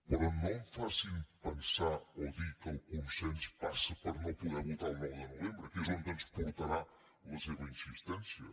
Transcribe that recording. però no em facin pensar o dir que el consens passa per no poder votar el nou de novembre que és on ens portarà la seva insistència